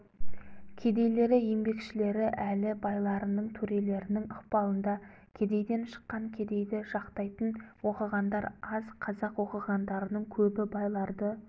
кедейлері еңбекшілері әлі байларының төрелерінің ықпалында кедейден шыққан кедейді жақтайтын оқығандар аз қазақ оқығандарының көбі байларды